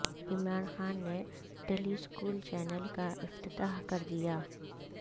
عمران خان نے tele school channel کا افتتاح کر دیا